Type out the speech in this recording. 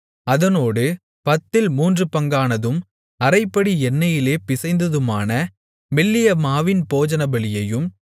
அதனோடு பத்தில் மூன்றுபங்கானதும் அரைப்படி எண்ணெயிலே பிசைந்ததுமான மெல்லிய மாவின் போஜனபலியையும்